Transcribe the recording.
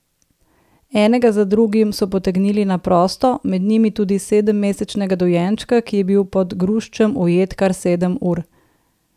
Enega za drugim so potegnili na prosto, med njimi tudi sedemmesečnega dojenčka, ki je bil pod gruščem ujet kar sedem ur.